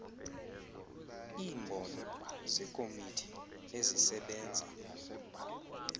iimbono zeekomiti ezisebenza